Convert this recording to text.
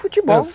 Futebol.